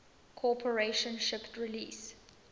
corporation shipped release